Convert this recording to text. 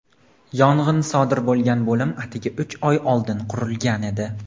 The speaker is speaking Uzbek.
yong‘in sodir bo‘lgan bo‘lim atigi uch oy oldin qurilgan edi.